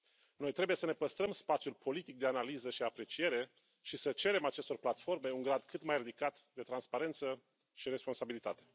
Noi trebuie să ne păstrăm spațiul politic de analiză și apreciere și să cerem acestor platforme un grad cât mai ridicat de transparență și responsabilitate.